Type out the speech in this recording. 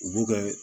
U b'u kɛ